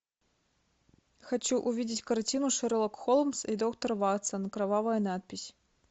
хочу увидеть картину шерлок холмс и доктор ватсон кровавая надпись